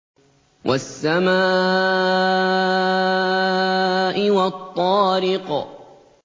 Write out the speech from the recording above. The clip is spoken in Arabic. وَالسَّمَاءِ وَالطَّارِقِ